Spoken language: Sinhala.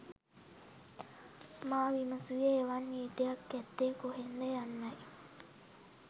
මා විමසූයේ එවන් නීතියක් ඇත්තේ කොහේද යන්නයි